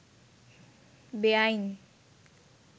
বেয়াইন